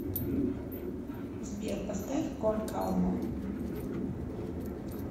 сбер поставь кон калма